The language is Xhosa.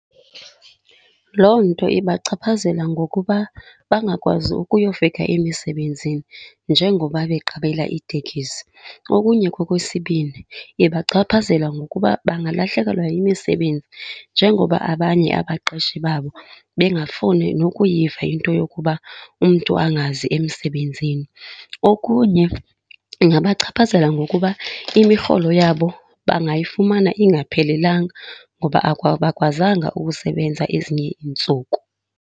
Loo nto ibachaphazela ngokuba bangakwazi ukuyofika emisebenzini njengoba beqabela iitekisi. Okunye ke okwesibini, ibachaphazela ngokuba bangalahlekelwa yimisebenzi njengoba abanye abaqeshi babo bengafuni nokuyiva yinto yokuba umntu angazi emsebenzini. Okunye ingabachaphazela ngokuba imirholo yabo bangayifumana ingaphelelanga ngoba abakwazanga ukusebenza ezinye iintsuku.